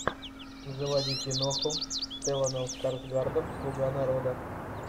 заводи киноху с стелланом скарсгардом слуга народа